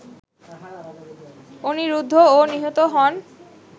অনিরুদ্ধও নিহত হন